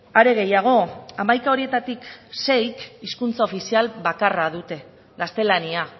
are gehiago hamaika horietatik seik hizkuntza ofizial bakarra dute gaztelania